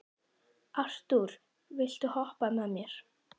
Arthúr, viltu hoppa með mér?